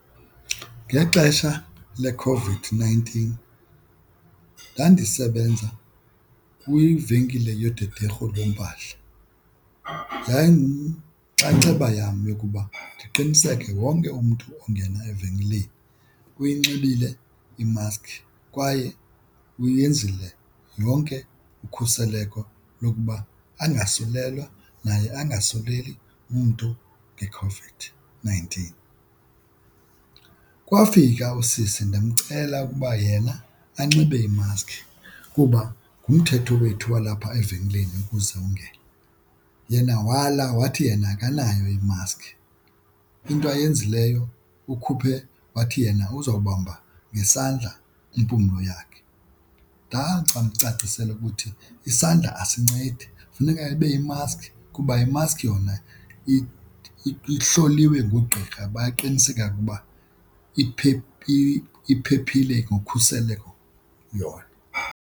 Ngexesha leCOVID-nineteen ndandibesenza kwivenkile yodederhu lweempahla, yayinxaxheba yam yokuba ndiqiniseke wonke umntu ongena evenkileni eyinxibile imaskhi kwaye uyenzile yonke ukhuseleko lokuba angaslelwa naye angasuleli umntu ngeCOVID-nineteen. Kwafika usisi ndamcela ukuba yena anxibe imaskhi kuba ngumthetho wethu walapha evenkileni ukuze ungene yena wala wathi yena akanayo imaskhi, into ayenzileyo ukhuphe wathi yena uzowubamba ngesandla impumlo yakhe. mcacisela ukuthi isandla asincedi funeka ibe yimaskhi kuba imaskhi yona ihloliwe ngugqirha baqiniseka ukuba iphephile ngokhuseleko yona.